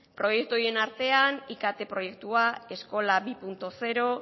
proiektu horien artean ikt proiektua eskola bi puntu zero